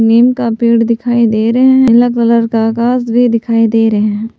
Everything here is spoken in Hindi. नीम का पेड़ दिखाई दे रहे हैं नीला कलर का आकाश भी दिखाई दे रहे हैं।